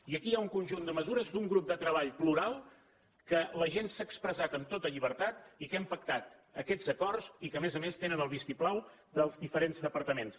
i aquí hi ha un conjunt de mesures d’un grup de treball plural que la gent s’ha expressat amb tota llibertat i que hem pactat aquests acords i que a més a més tenen el vistiplau dels diferents departaments